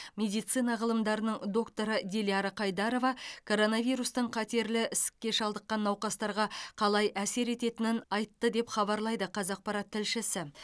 медицина ғылымдарының докторы диляра қайдарова коронавирустың қатерлі ісікке шалдыққан науқастарға қалай әсер ететінін айтты деп хабарлайды қазақпарат тілшісі